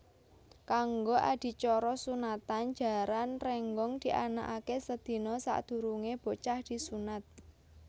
Kanggo adicara sunatan Jaran Rénggong dianakaké sedina sadurungé bocah disunat